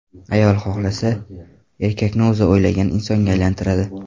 Ayol xohlasa, erkakni o‘zi o‘ylagan insonga aylantiradi.